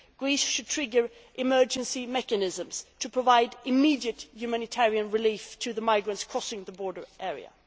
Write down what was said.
Greece should trigger emergency mechanisms to provide immediate humanitarian relief to the migrants crossing the border area.